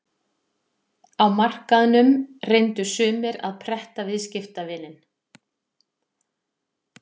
Á markaðnum reyndu sumir að pretta viðskiptavininn.